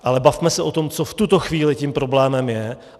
Ale bavme se o tom, co v tuto chvíli tím problémem je.